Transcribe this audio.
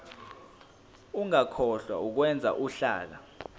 ungakhohlwa ukwenza uhlaka